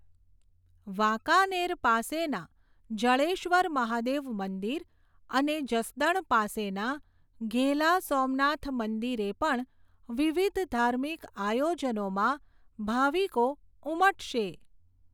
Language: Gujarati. વાંકાનેર પાસેના જડેશ્વર મહાદેવ મંદિર, અને જસદણ પાસેના ઘેલા સોમનાથ મંદિરે પણ, વિવિધ ધાર્મિક આયોજનોમાં ભાવિકો ઉમટશે.